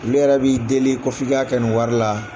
Olu yɛrɛ b'i deli ko f'i ka kɛ ni wari la